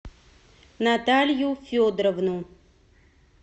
наталью федоровну